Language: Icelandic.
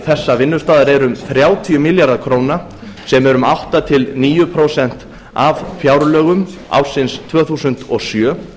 þessa vinnustaðar eru um þrjátíu milljarðar króna sem eru um átta til níu prósent af fjárlögum ársins tvö þúsund og sjö